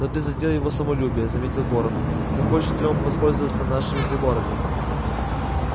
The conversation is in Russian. но ты задел его самолюбие заметил горов захочет ли он воспользоваться нашими приборами